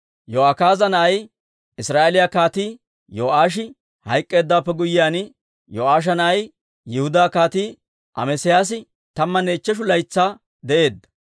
Yo'akaaza na'ay, Israa'eeliyaa Kaatii Yo'aashi hayk'k'eeddawaappe guyyiyaan, Yo'aasha na'ay Yihudaa Kaatii Amesiyaasi tammanne ichcheshu laytsaa de'eedda.